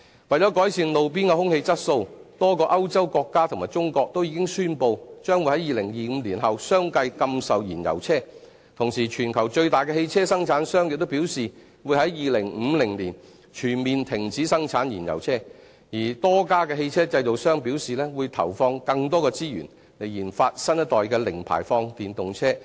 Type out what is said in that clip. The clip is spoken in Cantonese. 為了改善路邊的空氣質素，多個歐洲國家和中國均已宣布將會於2025年後相繼禁售燃油車，同時全球最大的汽車生產商亦表示會在2050年全面停止生產燃油車，而多家汽車製造商表示會投放更多的資源研發新一代的零排放電動車。